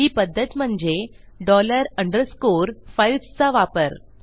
ही पध्दत म्हणजे dollar underscore files चा वापर